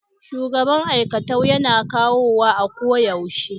shugaban aikatau Yana yawo a koyaushe.